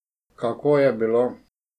Kako je bilo?